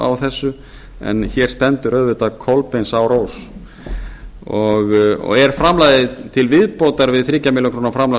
á þessu en hér stendur auðvitað kolbeinsárós og er framlagið til viðbótar við þrjár milljónir króna framlag